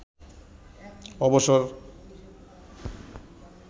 অবসর